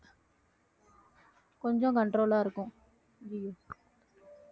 கொஞ்சம் control ஆ இருக்கும்